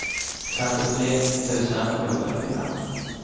femtiotre tusen sjuhundrafyra